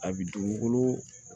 A bi dugukolo